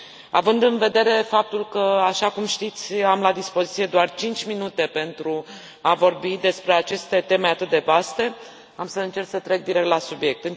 Având în vedere faptul că, așa cum știți, am la dispoziție doar cinci minute pentru a vorbi despre aceste teme atât de vaste, am să încerc să trec direct la subiect.